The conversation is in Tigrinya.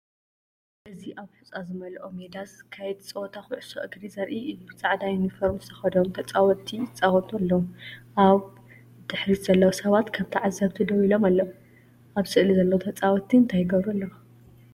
እዚ ኣብ ሑጻ ዝመልኦ ሜዳ ዝካየድ ጸወታ ኩዕሶ እግሪ ዘርኢ እዩ። ጻዕዳ ዩኒፎርም ዝተኸድኑ ተጻወትቲ ይጻወቱ ኣለዉ። ኣብ ድሕሪት ዘለዉ ሰባት ከም ተዓዘብቲ ደው ኢሎም ኣለዉ። ኣብ ስእሊ ዘለዉ ተጻወትቲ እንታይ ይገብሩ ኣለዉ?